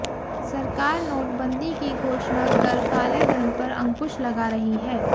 सरकार नोटबंदी की घोषणा कर कालेधन पर अंकुश लगा रही है